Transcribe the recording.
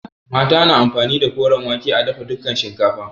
Mata na amfani da koren wake a dafa dukan shinkafa.